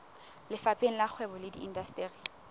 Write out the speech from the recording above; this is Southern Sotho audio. lefapheng la kgwebo le indasteri